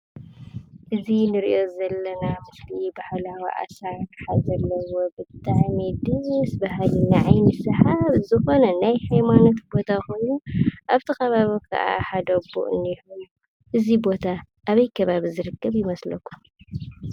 እዚ ንሪኦ ዘለና ምስሊ ባህላዊ ኣሳራርሓ ዘለዎ ብጣዕሚ ደስ ብሃሊ ንዓይኒ ሰሓቢ ዝኾነ ናይ ሃይማኖት ቦታ ኾይኑ ኣብቲ ኸባቢ ከዓ ሓደ ኣቦ እኒሄው፡፡ እዙይ ቦታ ኣበይ ከባብ ዝርከብ ይመስለኩም?